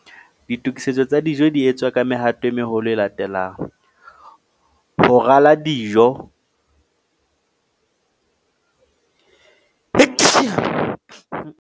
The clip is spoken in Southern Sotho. Ditokisetso tsa dijo di etswa ka mehato e meholo e latelang, ho rala dijo .